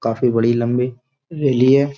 काफ़ी बड़ी लम्बी रेली है।